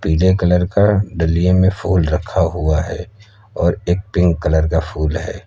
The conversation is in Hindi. पीले कलर का डालिए में फुल रखा हुआ है और एक पिंक कलर का फूल है।